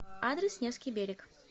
адрес невский берег